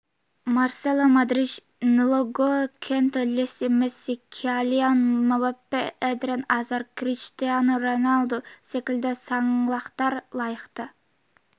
марсело модрич нголо канте лео месси килиан мбаппе эден азар криштиану роналду секілді саңлақтар лайықты